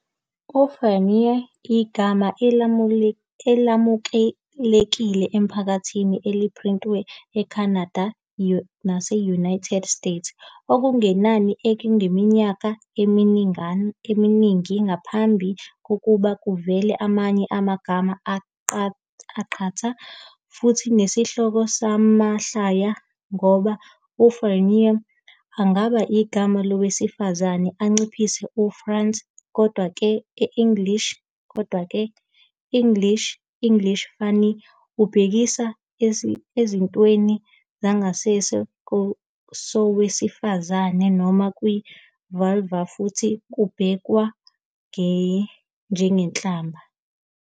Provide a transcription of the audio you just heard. UFanny- igama elamukelekile emphakathini eliphrintiwe, eCanada nase-United States okungenani, iminyaka eminingi ngaphambi kokuba kuvele amanye amagama aqatha, futhi nesihloko samahlaya, ngoba u- "Fannie" angaba igama lowesifazane, anciphise u- "Frances", kodwa-ke, e-English English fanny ubhekisa esithweni sangasese sowesifazane noma kwi-vulva futhi kubhekwa njengenhlamba.